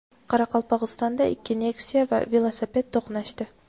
Qoraqalpog‘istonda ikki Nexia va velosiped to‘qnashdi.